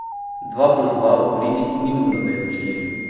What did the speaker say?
Dva plus dva v politiki ni nujno vedno štiri.